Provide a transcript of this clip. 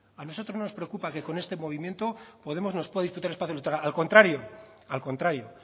a nosotros no nos preocupa que con este movimiento podemos nos pueda quitar espacio electoral al contrario al contrario